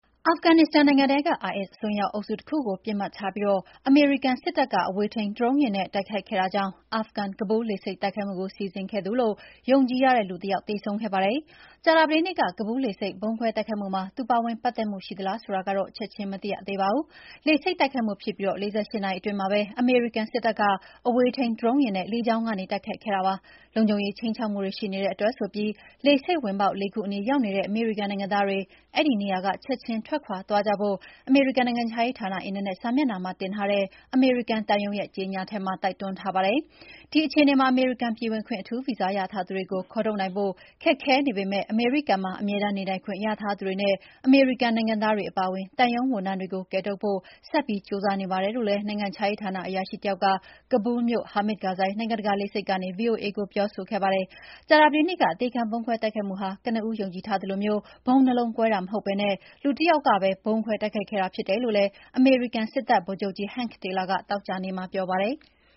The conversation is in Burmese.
အာဖဂန်နစ္စတန်နိုင်ငံထဲက IS အစွန်းရောက်အုပ်စုတခုကို ပစ်မှတ်ထားပြီး အမေရိကန်စစ်တပ်က အဝေးထိန်းဒရုန်းယာဉ်နဲ့ တိုက်ခိုက်ခဲ့တာကြောင့် အာဖဂန်-ကာဘူးလ်လေဆိပ်တိုက်ခိုက်မှုကို စီစဉ်ခဲ့သူလို့ ယုံကြည်ရတဲ့ လူတယောက် သေဆုံးခဲ့ပါတယ်။ ကြာသတေးနေ့က ကာဘူးလ်လေဆိပ် ဗုံးခွဲတိုက်ခိုက်မှုမှာ သူ ပါဝင်ပတ်သက်မှု ရှိသလားဆိုတာကတော့ ချက်ချင်းမသိရသေးပါဘူး။ လေဆိပ်တိုက်ခိုက်မှုဖြစ်ပြီး ၄၈ နာရီအတွင်းမှာပဲ အမေရိကန်စစ်တပ်က အဝေးထိန်း ဒရုန်းယာဉ်နဲ့ လေကြောင်းကနေ တိုက်ခိုက်ခဲ့တာဖြစ်ပါတယ်။ လုံခြုံရေးခြိမ်းခြောက်မှုတွေ ရှိနေတဲ့အတွက် လေဆိပ်ဝင်ပေါက် ၄ ခုအနီးရောက်နေတဲ့ အမေရိကန်နိုင်ငံသားတွေ အဲဒီနေရာက ချက်ချင်းထွက်ခွာသွားကြဖို့ အမေရိကန်နိုင်ငံခြားရေးဌာန အင်တာနက်စာမျက်နှာမှာတင်ထားတဲ့ အမေရိကန်သံရုံးရဲ့ ကြေငြာချက်မှာ တိုက်တွန်းထားပါတယ်။ ဒီအခြေအနေမှာ အမေရိကန်ပြည်ဝင်ခွင့် အထူးဗီဇာရထားသူတွေကို ခေါ်ထုတ်နိုင်ဖို့ ခက်ခဲနေပေမယ့် အမေရိကန်မှာ အမြဲတမ်းနေထိုင်ခွင့်ရထားသူတွေနဲ့ အမေရိကန်နိုင်ငံသားတွေအပါအဝင် သံရုံးဝန်ထမ်းတွေကို ကယ်ထုတ်ဖို့ ဆက်ပြီးကြိုးစားနေပါတယ်လို့လည်း နိုင်ငံခြားရေးဌာန အရာရှိတယောက်က ကာဘူလ်းမြို့ Hamid Karzai နိုင်ငံတကာလေဆိပ်ကနေ ဗွီအိုအေကို ပြောဆိုခဲ့ပါတယ်။ ကြာသတေးနေ့က အသေခံဗုံးခွဲတိုက်ခိုက်မှုဟာ ကနဦးယုံကြည်ထားသလို ဗုံးနှစ်လုံးကွဲတာမဟုတ်ဘဲ လူတယောက်တည်းကပဲ ဗုံးခွဲ တိုက်ခိုက်ခဲ့တာဖြစ်တယ်လို့လည်း အမေရိကန်စစ်တပ်ဗိုလ်ချုပ်ကြီး Hank Taylor က သောကြာနေ့မှာပြောပါတယ်။